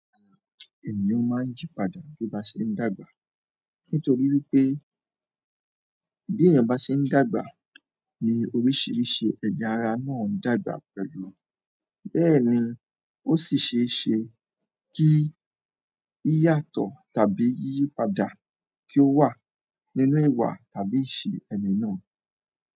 Ènìyàn máa ń yípadà bí ó bá ṣe ń dàgbà nítorí wípé bí èèyàn bá ṣe ń dàgbà ni oríṣiríṣi ẹ̀ya ara náà ń dàgbà pẹ̀lú. Bẹ́ẹ̀ ni ó sì ṣe é ṣe kí yíyàtọ̀ tàbí yíyípadà kí ó wà nínú ìwà tàbí ìṣe ẹni náà.